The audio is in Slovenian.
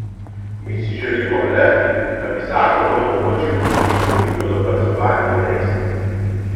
Mi si želimo le, da bi zakon omogočil učinkovito dokazovanje dejstev.